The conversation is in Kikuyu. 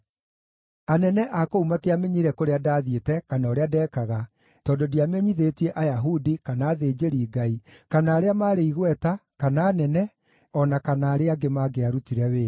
Anene a kũu matiamenyire kũrĩa ndathiĩte kana ũrĩa ndekaga tondũ ndiamenyithĩtie Ayahudi, kana athĩnjĩri-Ngai, kana arĩa maarĩ igweta, kana anene, o na kana arĩa angĩ mangĩarutire wĩra.